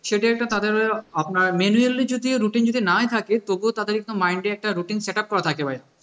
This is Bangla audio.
সেটাই একটা তাদের আপনার manually যদি routine যদি নাই থাকে তবুও তাদের একটা mind এ একটা routine setup করা থাকে